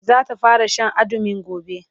zata fara Sha andumin gobe